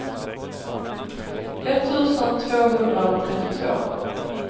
etttusen tvåhundratrettiotvå